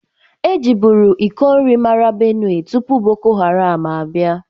E jibụru ịkọ nri mara Benue tụpụ boko haram abia.